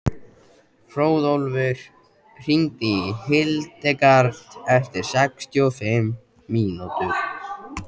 Hróðólfur, hringdu í Hildegard eftir sextíu og fimm mínútur.